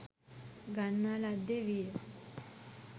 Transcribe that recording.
ගන්නා ලද්දේ විය.